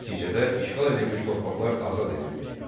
Nəticədə işğal edilmiş torpaqlar azad edildi.